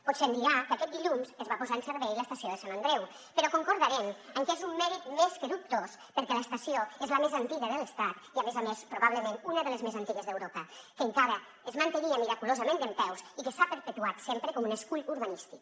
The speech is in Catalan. potser em dirà que aquest dilluns es va posar en servei l’estació de sant andreu però concordarem que és un mèrit més que dubtós perquè l’estació és la més antiga de l’estat i a més a més probablement una de les més antigues d’europa que encara es mantenia miraculosament dempeus i que s’ha perpetuat sempre com un escull urbanístic